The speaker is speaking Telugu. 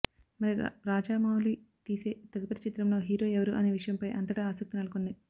మరి రాజవౌళి తీసే తదుపరి చిత్రంలో హీరో ఎవరు అనే విషయంపై అంతటా ఆసక్తి నెలకొంది